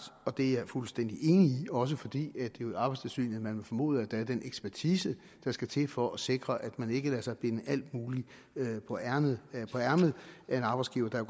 og det er jeg fuldstændig enig i også fordi er i arbejdstilsynet man vil formode at der er den ekspertise der skal til for at sikre at man ikke lader sig binde alt muligt på ærmet af en arbejdsgiver der